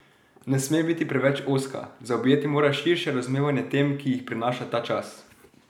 Ne sme biti preveč ozka, zaobjeti mora širše razumevanje tem, ki jih prinaša ta čas.